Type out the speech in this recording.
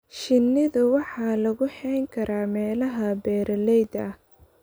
Shinnida waxa lagu hayn karaa meelaha beeralayda ah.